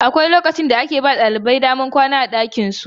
Akwai lokacin da ake ba ɗalibai damar zama a ɗakunan kwanansu.